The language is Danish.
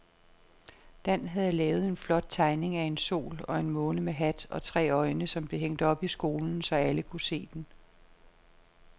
Dan havde lavet en flot tegning af en sol og en måne med hat og tre øjne, som blev hængt op i skolen, så alle kunne se den.